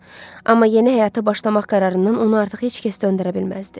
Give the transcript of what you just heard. Amma yeni həyata başlamaq qərarından onu artıq heç kəs döndərə bilməzdi.